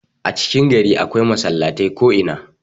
a cikin gari akwai masallatai ko'ina